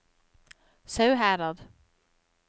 Sauherad